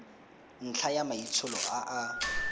ntlha ya maitsholo a a